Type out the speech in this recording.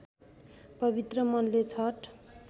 पवित्र मनले छठ